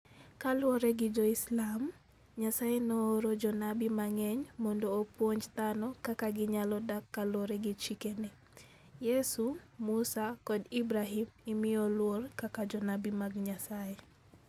Kaluwore gi Jo-Islam, Nyasaye nooro jonabi mang'eny mondo opuonj dhano kaka ginyalo dak kaluwore gi chikene. Yesu, Musa, kod Ibrahim imiyo luor kaka jonabi mag Nyasaye